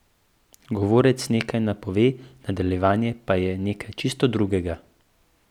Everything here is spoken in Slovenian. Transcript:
Govorec nekaj napove, nadaljevanje pa je nekaj čisto drugega.